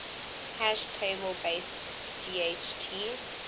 hash table based dht